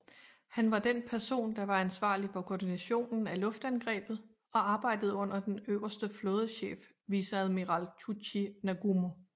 Han var den person der var ansvarlig for koordinationen af luftangrebet og arbejdede under den øverste flådechef viceadmiral Chuichi Nagumo